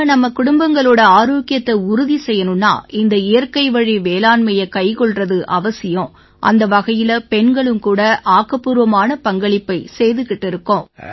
நாம நம்ம குடும்பங்களோட ஆரோக்கியத்தை உறுதி செய்யணும்னா இந்த இயற்கை வழி வேளாண்மையை கைக்கொள்றது அவசியம் அந்த வகையில பெண்களும் கூட ஆக்கப்பூர்வமான பங்களிப்பை செய்திட்டு இருக்கோம்